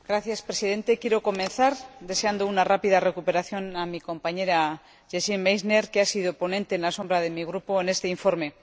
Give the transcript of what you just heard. Señor Presidente, quiero comenzar deseando una rápida recuperación a mi compañera Gesine Meissner, que ha sido ponente alternativa de mi Grupo en este informe.